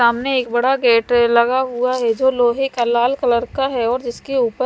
सामने एक बड़ा गेट लगा हुआ है जो लोह का लाल कलर का है और जिसके ऊपर--